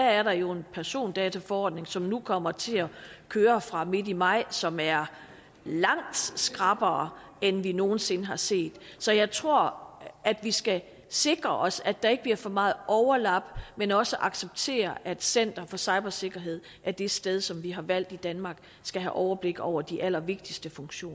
er der jo er en persondataforordning som nu kommer til at køre fra midt i maj som er langt skrappere end vi nogen sinde har set så jeg tror at vi skal sikre os at der ikke bliver for meget overlap men også acceptere at center for cybersikkerhed er det sted som vi har valgt i danmark skal have overblik over de allervigtigste funktioner